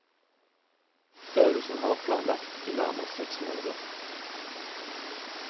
Øvelsen har vært planlagt i nærmere seks måneder.